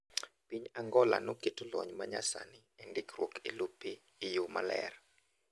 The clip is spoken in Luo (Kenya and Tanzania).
Piny Angola noketo lony manyasani endikruok elope eyor ler.